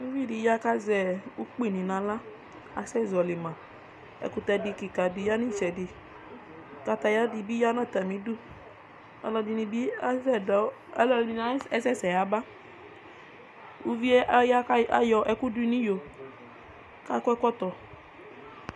Ʋvi dɩ ya kazɛ ʋkpɩɩdɩ naɣla asɛ zɔɔlɩ ma ɛkʋtɛ dɩ kɩka dɩ ya nɩtsɛdɩ kataya dɩ bɩ ya nʋ atamɩdʋ ɔlɔdɩnɩ bɩ asɛsɛ yaba Ʋvɩe ya kayɔ ɛkʋ dʋ nɩyo kakɔ ɛkɔtɔ